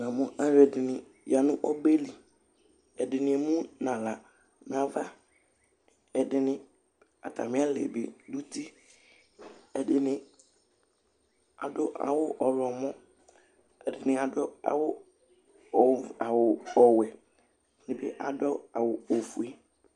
Alʋɛdìní ya nu ɔbɛli Ɛdiní emu nʋ aɣla nʋ ava Ɛdiní, atami lɛ bi nʋ ʋti Ɛdiní adu awu ɔwlɔmɔ Ɛdiní adu awu ɔwɛ Ɛdiní adu awu ɔfʋe